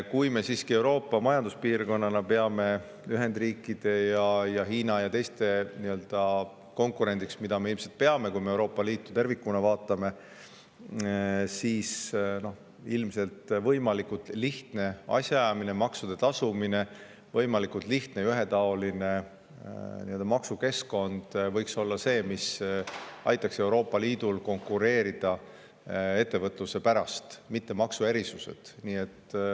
Kui me siiski peame ennast Euroopa majanduspiirkonnana Ühendriikide ja Hiina ning teiste konkurendiks, mida me ilmselt teeme, kui me vaatame Euroopa Liitu tervikuna, võiksid ilmselt võimalikult lihtne asjaajamine, maksude tasumine ning võimalikult lihtne ja ühetaoline maksukeskkond olla need, mis aitaksid Euroopa Liidul konkureerida ettevõtluse pärast, mitte aga maksuerisused.